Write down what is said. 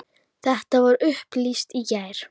Þetta var upplýst í gær.